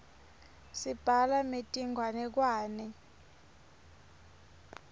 sibhala metinganekwane